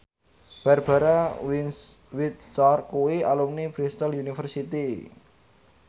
Barbara Windsor kuwi alumni Bristol university